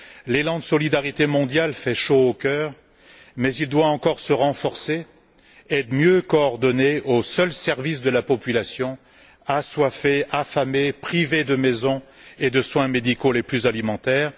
L'élan de solidarité mondiale fait chaud au cœur, mais il doit encore se renforcer, être mieux coordonné au seul service de la population assoiffée, affamée, privée de maisons et de soins médicaux les plus élémentaires.